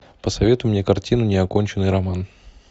посоветуй мне картину неоконченный роман